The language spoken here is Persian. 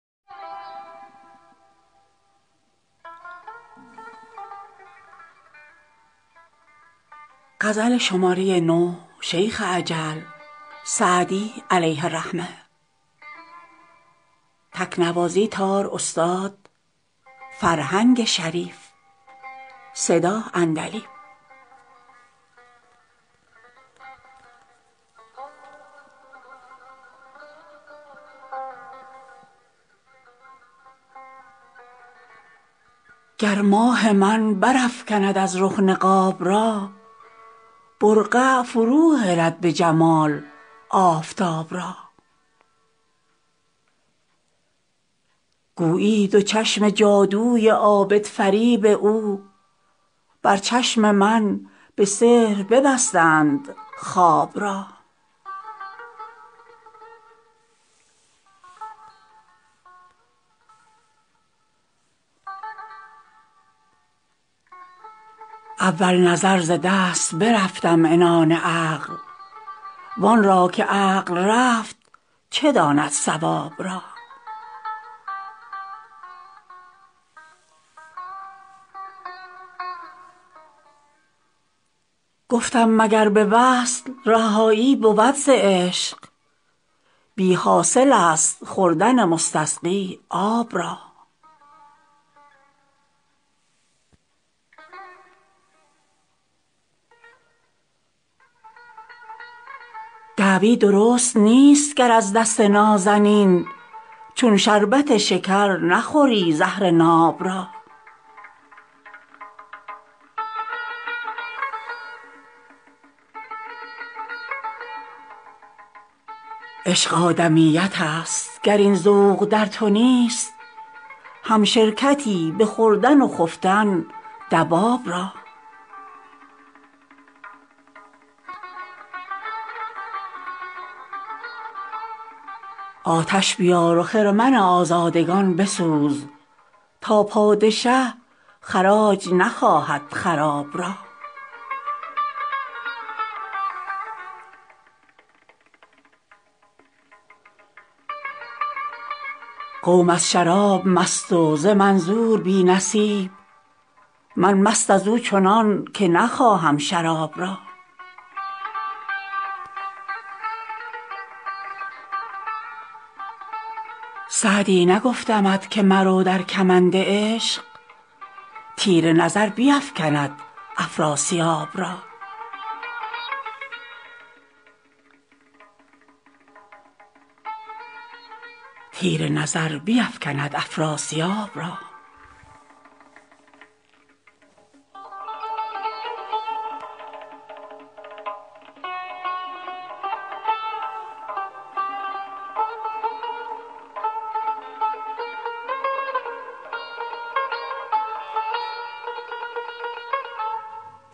گر ماه من برافکند از رخ نقاب را برقع فروهلد به جمال آفتاب را گویی دو چشم جادوی عابدفریب او بر چشم من به سحر ببستند خواب را اول نظر ز دست برفتم عنان عقل وان را که عقل رفت چه داند صواب را گفتم مگر به وصل رهایی بود ز عشق بی حاصل است خوردن مستسقی آب را دعوی درست نیست گر از دست نازنین چون شربت شکر نخوری زهر ناب را عشق آدمیت است گر این ذوق در تو نیست همشرکتی به خوردن و خفتن دواب را آتش بیار و خرمن آزادگان بسوز تا پادشه خراج نخواهد خراب را قوم از شراب مست و ز منظور بی نصیب من مست از او چنان که نخواهم شراب را سعدی نگفتمت که مرو در کمند عشق تیر نظر بیفکند افراسیاب را